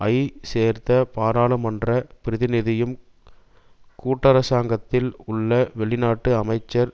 ஜ சேர்ந்த பாராளுமன்ற பிரதிநிதியும் கூட்டரசாங்கத்தில் உள்ள வெளிநாட்டு அமைச்சர்